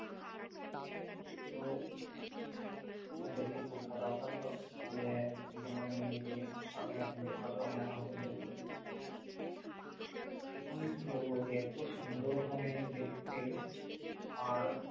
তো দেখে খুব খারাপ লাগলো যে বনু নিয়েছে আমি আর কিনতে পারলাম না এখনো পর্যন্ত আইফোন এর কি বলব যে এত সুন্দর মানে দেখতে আর